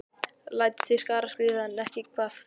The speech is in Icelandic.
Lætur til skarar skríða, en ekki hvað?